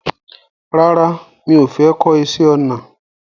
Rárá mi ò fẹ́ kọ́ iṣẹ́ ọnà